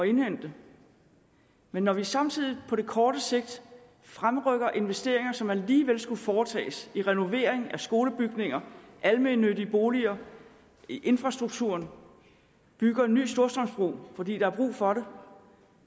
indhente men når vi samtidig på den korte sigt fremrykker investeringer som alligevel skulle foretages renovering af skolebygninger almennyttige boliger infrastrukturen bygger en ny storstrømsbro fordi der er brug for det